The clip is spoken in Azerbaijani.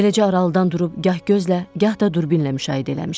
Eləcə aralıdan durub gah gözlə, gah da durbindən müşahidə eləmişdik.